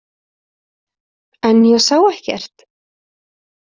En ég sá ekkert.